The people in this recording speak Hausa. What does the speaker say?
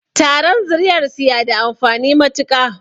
Taron zuriyarsu ya da amfani matuƙa